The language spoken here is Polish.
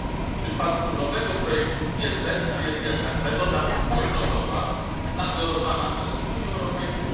W przypadku nowego projektu niezbędna jest jednak metoda wspólnotowa nadzorowana przez Unię Europejską.